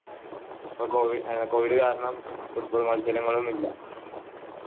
ഇപ്പൊ covid കാരണം football മത്സരങ്ങൾ ഒന്നില്ല